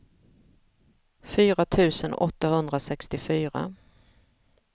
fyra tusen åttahundrasextiofyra